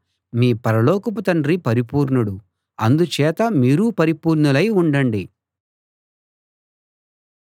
మీ పరలోకపు తండ్రి పరిపూర్ణుడు అందుచేత మీరూ పరిపూర్ణులై ఉండండి